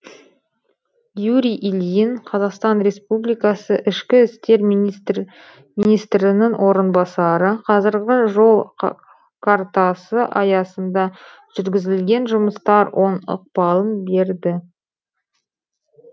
юрий ильин қазақстан республикасы ішкі істер министрінің орынбасары қазіргі жол картасы аясында жүргізілген жұмыстар оң ықпалын берді